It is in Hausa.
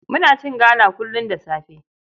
Muna cin gala kullum da safe.